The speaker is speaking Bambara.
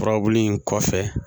Furabulu in kɔfɛ